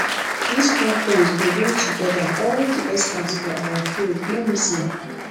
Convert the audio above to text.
dis conference go bring togeda all di experts for our field no miss am